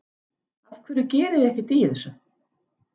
Af hverju gerið þið ekkert í þessu?